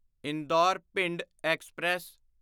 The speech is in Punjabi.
ਇੰਦੌਰ ਭਿੰਡ ਐਕਸਪ੍ਰੈਸ